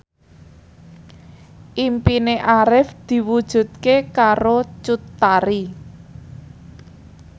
impine Arif diwujudke karo Cut Tari